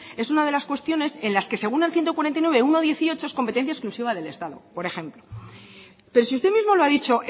es una de las cuestiones en las que según el ciento cuarenta y nueve punto uno punto dieciocho es competencia exclusiva del estado por ejemplo pero si usted mismo lo ha dicho